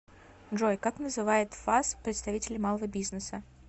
джой как называет фас представителей малого бизнеса